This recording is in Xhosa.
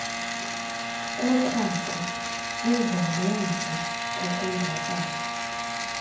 koqhaqho ezangemva kokonzakala